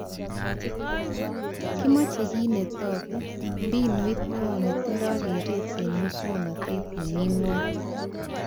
Kimachee kit netaku, mbinut neyoo netindoi keret eng muswonotet nemii ngwony